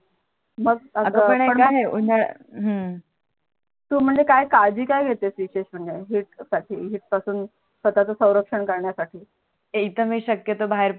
तु म्हणजे काळजी काय घेते विशेष म्हणजे हीट साठी हीट पासून स्वतच स्वरक्षण करण्यासाठी तिथे शक्यतो बाहेर रस